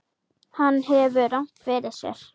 Hann hefur rangt fyrir sér.